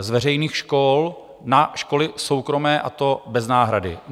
z veřejných škol na školy soukromé, a to bez náhrady.